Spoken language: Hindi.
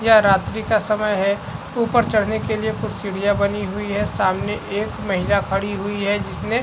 यह रात्री का समय है ऊपर चढ़ने के लिए कुछ सीढ़ियां बनी हुई है सामने एक महिला खड़ी हुई है जिसने --